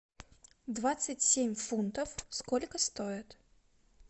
двадцать семь фунтов сколько стоит